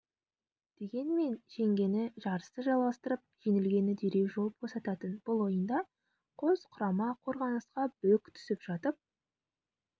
дегенмен жеңгені жарысты жалғастырып жеңілгені дереу жол босататын бұл ойында қос құрама қорғанысқа бүк түсіп жатып